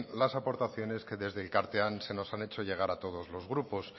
las aportaciones que desde elkartean se nos han hecho llegar a todos los grupos